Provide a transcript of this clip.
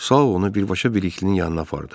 Sao onu birbaşa Bəliklinin yanına apardı.